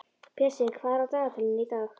Pési, hvað er á dagatalinu í dag?